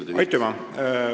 Aitüma!